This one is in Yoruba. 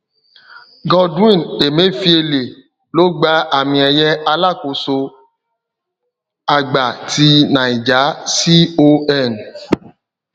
godwin emefiele ló gba àmìeye alákóso àgbà ti niger con